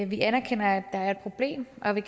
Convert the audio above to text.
vi anerkender at der er et problem og vi